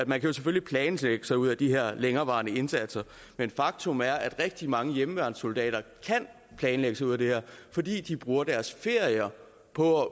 man jo selvfølgelig planlægge sig ud af de her længerevarende indsatser men faktum er at rigtig mange hjemmeværnssoldater kan planlægge sig ud af det her fordi de bruger deres ferier på